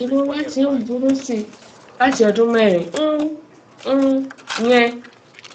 ìrora ti ń burú sí i láti ọdún mẹrin um um yẹn